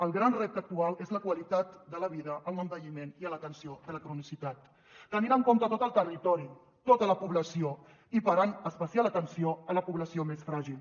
el gran repte actual és la qualitat de la vida en l’envelliment i l’atenció de la cronicitat tenint en compte tot el territori tota la població i parant especial atenció a la població més fràgil